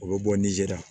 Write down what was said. O bɛ bɔ ni zera